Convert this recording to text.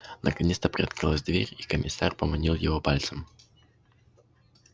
наконец то приоткрылась дверь и комиссар поманил его пальцем